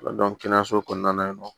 kɛnɛyaso kɔnɔna na yen nɔ